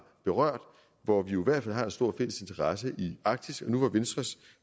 berørt og hvor vi jo i hvert fald har en stor fælles interesse i arktis nu var venstres